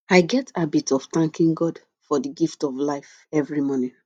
i get habit of thanking god for di gift of life every morning